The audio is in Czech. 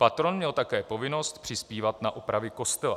Patron měl také povinnost přispívat na opravy kostela.